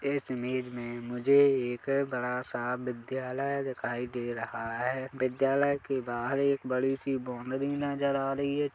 इस इमेज में मुझे एक बड़ा सा विद्यालय दिखाई दे रहा है विद्यालय के बाहर एक बड़ी सी बोमरी नजर आ रही है।